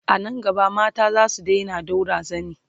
anan gaba mata zasu Daina ɗaura zani